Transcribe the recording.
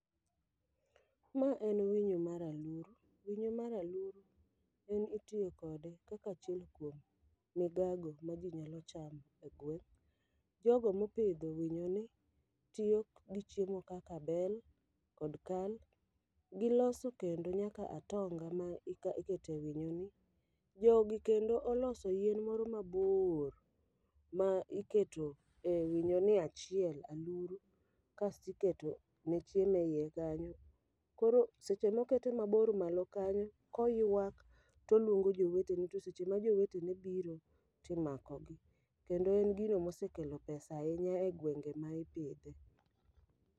Ma en winyo mar aluru, winyo mar aluru en itiyo kode kaka achiel kuom migago ma ji nyalo chamo e gweng' Jogo mopidho winyo ni tiyo gi chiemo kaka bel kod kal, gilose kendo nyaka atonga ma ika ikete winyo ni. Jogi kendo oloso yien moro mabor, ma iketo e winyo ni achiel aluru kasti keto ne chiemo eiye kanyo. Koro seche mokete mabor malo kanyo koywak toluongo jowete ne, to seche ma jowetene biro timako gi. Kendo en gino mosekelo pesa ahinya e gwenge ma ipidhe.